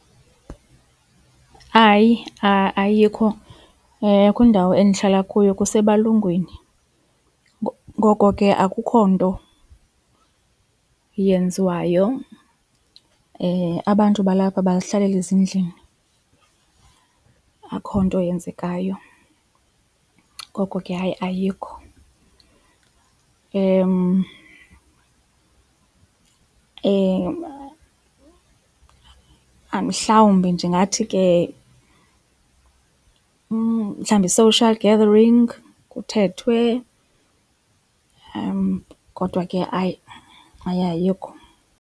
Hayi ayikho kwindawo endihlala kuyo kusebalungwini ngoko ke akukho nto yenziwayo abantu balapha bazihlalela ezindlini akho nto yenzekayo ngoko ke hayi ayikho. Mhlawumbi ndingathi ke mhlawumbi social gathering kuthethwe kodwa ke hayi hay ayikho.